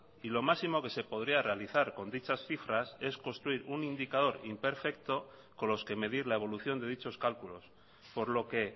y lo máximo que se podría realizar con dichas cifras es construir un indicador imperfecto con los que medir la evolución de dichos cálculos por lo que